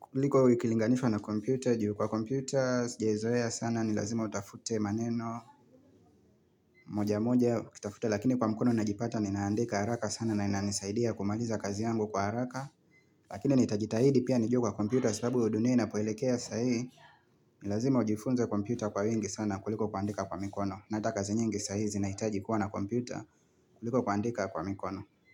Kuliko ikilinganifa na kompute, juu kwa kompute, jezoea sana, nilazima utafute maneno. Moja moja, utafute, lakini kwa mikono najipata, ninaandika haraka sana, na inanisaidia kumaliza kazi yangu kwa haraka. Lakini nitajitahidi pia niju kwa kompute, sababu uduniai na poelekea sahi, nilazima ujifunza kompute kwa wengi sana, kuliko kuandika kwa mikono. Nata kazi nyingi sahi zinaitaji kuwa na kompute, kuliko kuandika kwa mikono.